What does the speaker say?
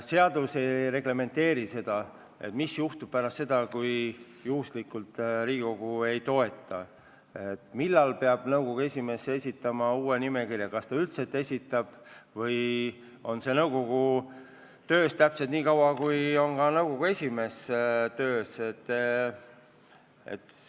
Seadus ei reglementeeri seda, mis juhtub, kui Riigikogu ei toeta eelnõu, samuti seda, millal peab nõukogu esimees esitama uue nimekirja, kas ta üldse peab selle esitama või on see nõukogu töös täpselt nii kaua, kui kestab nõukogu esimehe ametiaeg.